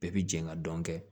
Bɛɛ bi jɛ ka dɔn kɛ